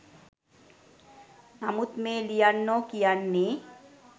නමුත් මේ ලියන්නො කියන්නෙ